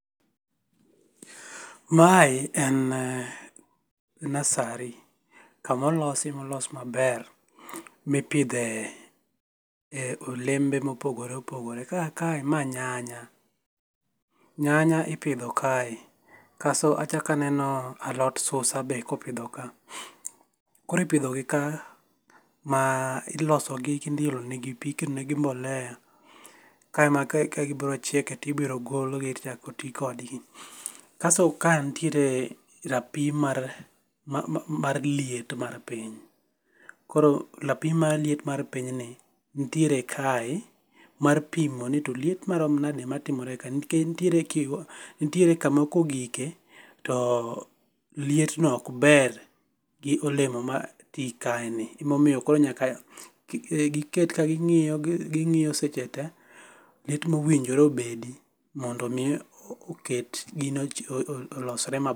Mae en nursery, kamolosi molosi maber mithie olembe mopgogore opogore, ka kae mae nyanya, nyanya ipithoe kae, koso kachako aneni to aneno alot susa be ipitho kae , koro ipithogi ka ma olo sogi kendo iolonegi pi iketonegi mbolea kae ma ka gibiro chieke to ibiro golgi to ichako ti kodgi, kasto kae nitiere rapim mar mar liet mar piny, koro rapim marliet mar pinyni nitiere kae mar pimoni to liet marom nade matimore kae nikech nitiere kama kogike to lietno okber gi olemo ma ti kaeni emomiyo koro nyaka giket kagingiyo gingio seche te liet ma owinjore obedi mondo mi oket gino olosre maber.